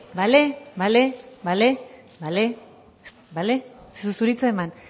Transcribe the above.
bale bale bale bale bale ez dizut hitza eman